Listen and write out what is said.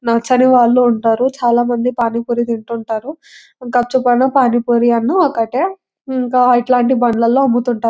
నచ్చని వాళ్ళు ఉంటారు చాలామంది పానీ పూరి తింటూంటారు గప్చుపైన పానిపురి అయినా ఒకటే. ఇంకా ఇలాంటి బల్లల్లో అమ్ముతూ ఉంటా --